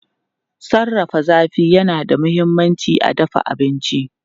Sarrafa zafi yana da mahimmanci a dafa abinci.